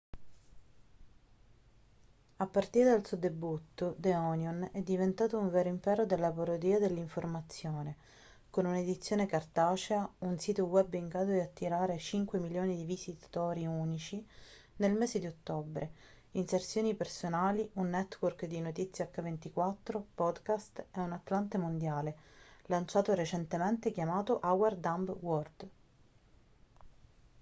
a partire dal suo debutto the onion è diventato un vero impero della parodia dell'informazione con un'edizione cartacea un sito web in grado di attirare 5.000.000 di visitatori unici nel mese di ottobre inserzioni personali un network di notizie h24 podcast e un atlante mondiale lanciato recentemente chiamato our dumb world